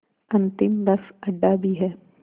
अंतिम बस अड्डा भी है